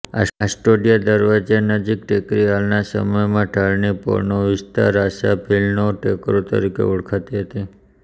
આસ્ટોડિયા દરવાજા નજીકની ટેકરી હાલના સમયમાં ઢાળની પોળનો વિસ્તાર આશા ભીલનો ટેકરો તરીકે ઓળખાતી હતી